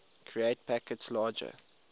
create packets larger